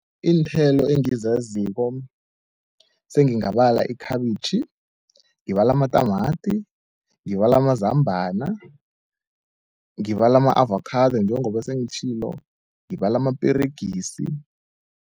Iinthelo engizaziko sengingabala ikhabitjhi, ngibale amatamati, ngibale amazambana, ngibale ama-avakhado njengoba sengitjhilo, ngibale amaperegisi.